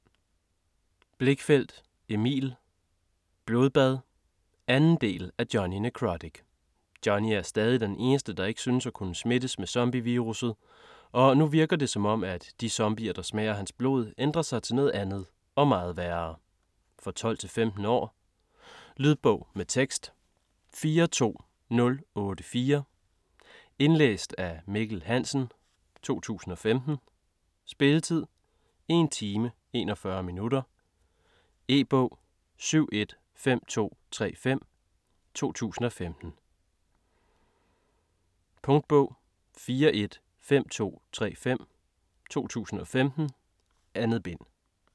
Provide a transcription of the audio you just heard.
Blichfeldt, Emil: Blodbad 2. del af Jonny Nekrotic. Jonny er stadig den eneste der ikke synes at kunne smittes med zombievirus'et, og nu virker det som om, at de zombier der smager hans blod ændrer sig til noget andet - og meget værre. For 12-15 år. Lydbog med tekst 42084 Indlæst af Mikkel Hansen, 2015. Spilletid: 1 time, 41 minutter. E-bog 715235 2015. Punktbog 415235 2015. 2 bind.